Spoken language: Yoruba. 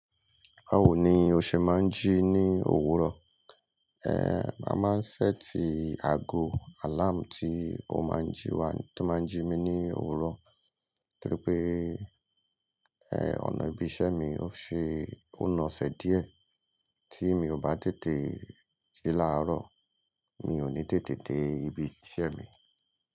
Bawo ni o se maa n ji ni owuro? Eh a maa n set ago alarm ti o ma n ji wa, ti o ma n ji mi ni owuro toripe eh ona ibi ise mi o se o naase die. Ti mi o ba tete de laaro mi o ni tete de ibi ise mi.